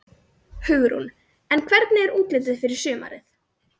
Hugrún: En hvernig er útlitið fyrir sumarið?